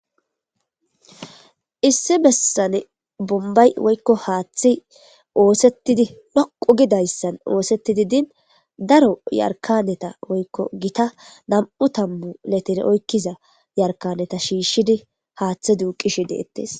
issi bessane bombay woykko haaththi oosettidi dhoqu gidayssan oosettidi din daro yarkaneta woykko gita nam'u tamu letere oykkiza yarkaneta shiishshidi haaththe duuqishi deettes